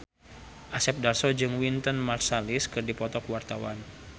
Asep Darso jeung Wynton Marsalis keur dipoto ku wartawan